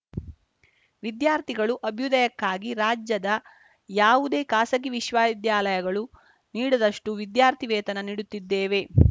ವಿದ್ಯಾರ್ಥಿಗಳು ಅಭ್ಯುದಯಕ್ಕಾಗಿ ರಾಜ್ಯದ ಯಾವುದೇ ಖಾಸಗಿ ವಿಶ್ವವಿದ್ಯಾಲಯಗಳು ನೀಡದಷ್ಟು ವಿದ್ಯಾರ್ಥಿ ವೇತನ ನೀಡುತ್ತಿದ್ದೇವೆ